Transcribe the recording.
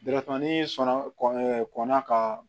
ni sɔnna kɔn ɛ kɔnna ka